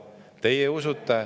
Teie usute …